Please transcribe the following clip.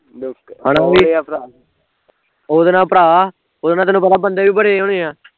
ਉਹਦੇ ਨਾਲ਼ ਭਰਾ ਉਹਦੇ ਨਾਲ਼ ਤੇਨੂੰ ਪਤਾ ਬੰਦੇ ਵੀ ਬੜੇ ਹੋਣੇ ਆ